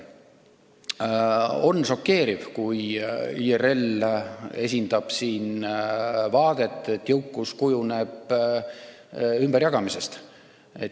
On šokeeriv, kui IRL esindab siin vaadet, et jõukus kujuneb ümberjagamisega.